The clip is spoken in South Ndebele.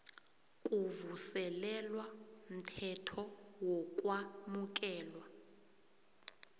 kuvuselelwa mthetho wokwamukelwa